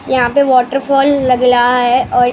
यहां पे वॉटरफॉल लग लहा है और--